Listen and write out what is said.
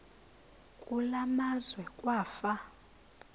kule meazwe kwafa